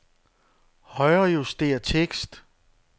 Højrejuster tekst.